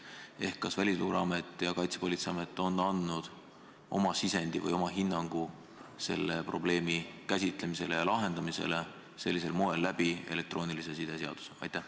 Ehk kas Välisluureamet ja Kaitsepolitseiamet on andnud oma sisendi või oma hinnangu selle probleemi käsitlemisele ja lahendamisele sellisel moel läbi elektroonilise side seaduse?